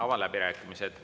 Avan läbirääkimised.